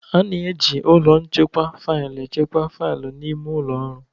A na-eji ụlọ nchekwa faịlụ echekwa faịlụ n'ime ụlọ ọrụ